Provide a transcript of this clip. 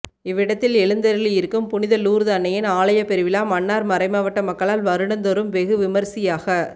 இவ் இடத்தில் எழுந்தருளியிருக்கும் புனித லூர்து அன்னையின் ஆலயப் பெருவிழா மன்னார் மறைமாவட்ட மக்களால் வருடந்தோறும் வெகு விமரிசையாக